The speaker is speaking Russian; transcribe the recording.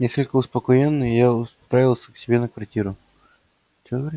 несколько успокоенный я отправился к себе на квартиру что говоришь